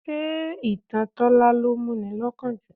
Ṣé ìtàn Tola ló mú ni lọ́kàn jù?